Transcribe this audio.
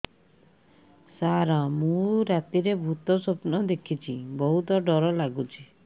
ସାର ମୁ ରାତିରେ ଭୁତ ସ୍ୱପ୍ନ ଦେଖୁଚି ବହୁତ ଡର ଲାଗୁଚି